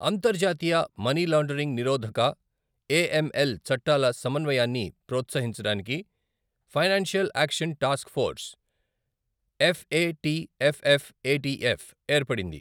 అంతర్జాతీయ మనీలాండరింగ్ నిరోధక, ఏఎంఎల్ చట్టాల సమన్వయాన్ని ప్రోత్సహించడానికి Financial Action Task Force, FATF FATF, ఏర్పడింది.